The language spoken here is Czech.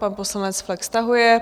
Pan poslanec Flek stahuje.